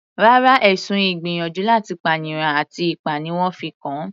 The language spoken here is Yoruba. Rárá, ẹ̀sùn ìgbìyànjú láti pànìyàn àti ipá ni wọ́n fi kàn an.